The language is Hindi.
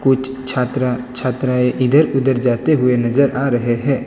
कुछ छात्रा छात्राएं इधर उधर जाते हुए नजर आ रहे हैं।